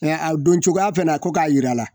a don cogoya fɛnɛ na ko k'a yira a la